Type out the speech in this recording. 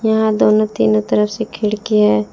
यहां दोनों तीनों तरफ से खिड़कियां हैं।